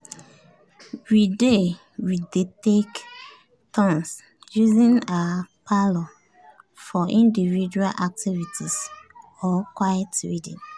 we dey we dey take turns using our parlour for individual activities or quiet reading.